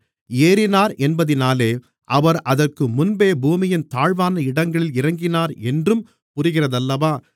ஏறினார் என்பதினாலே அவர் அதற்கு முன்பே பூமியின் தாழ்வான இடங்களில் இறங்கினார் என்றும் புரிகிறதல்லவா